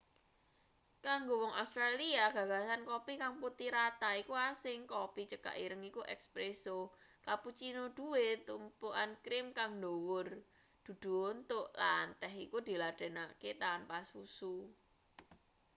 kanggo wong australia gagasan kopi kang 'putih rata' iku asing. kopi cekak ireng iku 'espresso' cappuccino duwe tumpukan krim kang dhuwur dudu unthuk lan teh iku diladenake tanpa susu